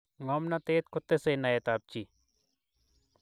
ngomnatet kotesei naet ap chii